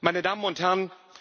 meine Damen und Herren!